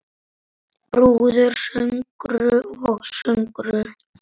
Brúður, söngur og sögur.